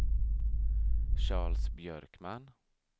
Charles Björkman